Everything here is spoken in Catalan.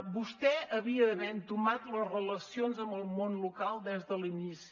vostè havia d’haver entomat les relacions amb el món local des de l’inici